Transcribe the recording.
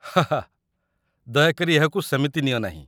ହା ହା, ଦୟାକରି ଏହାକୁ ସେମିତି ନିଅ ନାହିଁ।